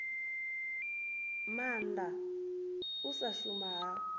maanda u sa shuma ha